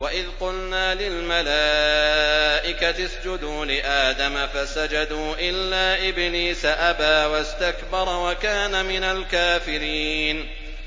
وَإِذْ قُلْنَا لِلْمَلَائِكَةِ اسْجُدُوا لِآدَمَ فَسَجَدُوا إِلَّا إِبْلِيسَ أَبَىٰ وَاسْتَكْبَرَ وَكَانَ مِنَ الْكَافِرِينَ